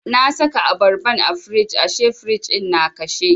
Na saka abarban a firij ashe firij ɗin na kashe.